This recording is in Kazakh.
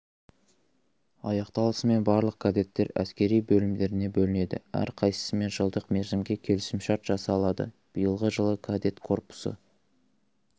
аяқталысымен барлық кадеттер әскери бөлімдеріне бөлінеді әрқайсысымен жылдық мерзімге келісімшарт жасалады биылғы жылы кадет корпусы